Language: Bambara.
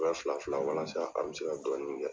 fila fila walasa an bɛ se ka dɔnni kɛ.